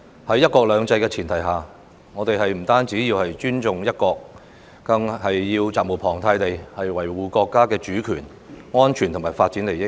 在"一國兩制"的前提下，我們不單要尊重"一國"，更要責無旁貸地維護國家主權、安全和發展利益。